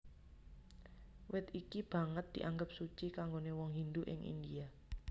Wit iki banget dianggep suci kanggoné wong Hindu ing India